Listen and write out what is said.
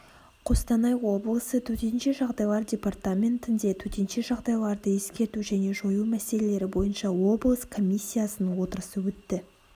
қостанай облысы төтенше жағдайлар департаментінде төтенше жағдайларды ескерту және жою міселелері бойынша облыс комиссиясының отырысы өтті